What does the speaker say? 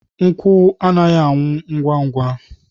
Nkwụ anaghị anwụ ngwa ngwa.